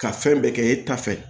Ka fɛn bɛɛ kɛ e ta fɛ